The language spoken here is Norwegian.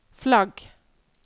flagg